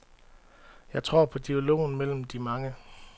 Jeg tror på dialogen mellem de mange.